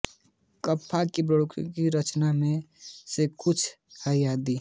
Kafka की बहुप्रचलित रचनाओं में से कुछ हैं आदि